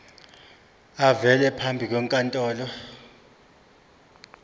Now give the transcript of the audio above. avele phambi kwenkantolo